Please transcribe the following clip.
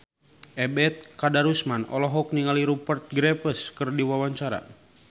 Ebet Kadarusman olohok ningali Rupert Graves keur diwawancara